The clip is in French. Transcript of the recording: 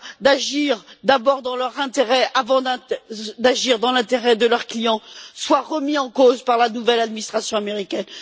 d'agir dans leur propre intérêt avant d'agir dans l'intérêt de leur client, soient remis en cause par la nouvelle administration américaine.